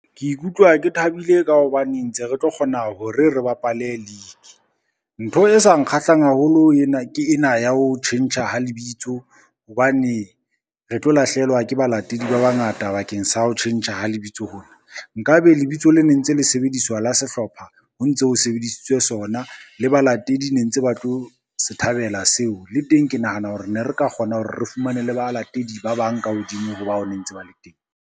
Ke ikutlwa ke thabile ka hobane ntse re tlo kgona hore re bapale league. Ntho e sa nkgahlang haholo ke ena ya ho tjhentjha ha lebitso hobane, re tlo lahlehelwa ke balatedi ba bangata bakeng sa ho tjhentjha ha lebitso hona, nka be lebitso le ne ntse le sebediswa la sehlopha ho ntso sebedisitswe sona le balatedi ne ntse ba tlo se thabela seo, le teng ke nahana hore ne re ka kgona hore re fumane le balatedi ba bang ka hodimo ho bao ne ntse ba le teng.